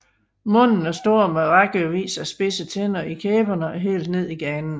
Munden er stor med rækkevis af spidse tænder i kæberne og helt ned i ganen